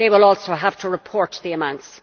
They will also have to report the amounts.